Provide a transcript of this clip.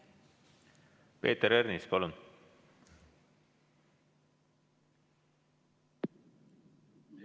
Peeter Ernits, palun!